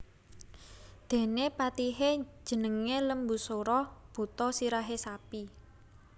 Dene patihe jenenge Lembusura buta sirahe sapi